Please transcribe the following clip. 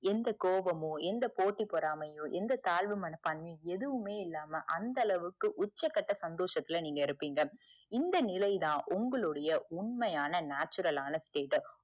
எந்த கோவமும் எந்த போட்டி பொறாமையும் எந்த தாழ்வுமனப்பான்மையும் எதுவுமே இல்லாம அந்த அளவுக்கு உச்சக்கட்ட சந்தோசத்துல நீங்க இருப்பீங்க இந்த நிலை தான் உங்களுடைய உண்மையான natural ஆண stateup